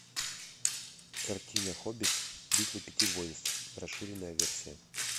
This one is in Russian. картина хоббит битва пяти воинств расширенная версия